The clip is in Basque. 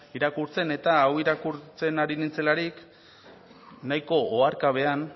irakurtzen eta hau irakurtzen ari nintzelarik nahiko oharkabean